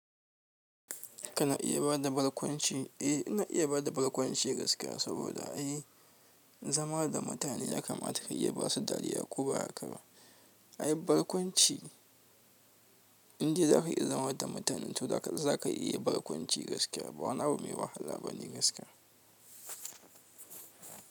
Kana iya bada barkwanci? Eh, ina iya bada barkwanci gaskiya saboda ai zama da mutane ya kamata ka iya basu dariya ko ba haka ba. Ai barkwanci, in dai za ka iya zama da mutane to zaka iya barkwanci gaskiya. Ba wani abu mai wahala bane gaskiya.